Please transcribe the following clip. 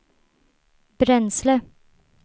bränsle